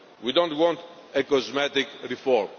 We do not want a cosmetic reform.